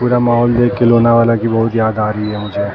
पुरा माहौल देख के लोनावला की बहोत याद आ रही है मुझे।